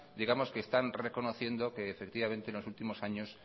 digamos que están reconociendo que efectivamente en los últimos años